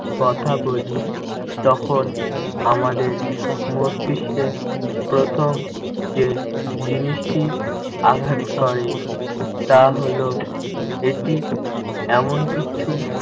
কথা বলি, তখন আমাদের মস্তিস্কে প্রথম যে জিনিসটি আঘাত করে তা হলো এটি এমন কিছু